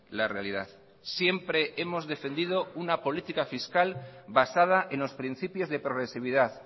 la realidad siempre hemos defendido una política fiscal basada en los principios de progresividad